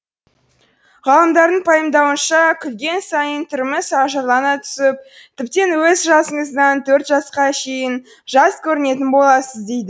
ғалымдардың пайымдауынша күлген сайын түріміз ажарлана түсіп тіптен өз жасыңыздан төрт жасқа шейін жас көрінетін боласыз дейді